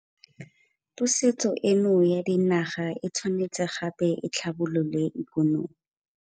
Pusetso eno ya dinaga e tshwanetse gape e tlhabolole ikonomi.